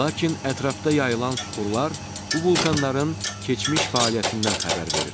Lakin ətrafda yayılan süxurlar bu vulkanların keçmiş fəaliyyətindən xəbər verir.